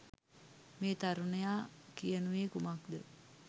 මේ තරුණයා කියනුයේ කුමක්‌ද?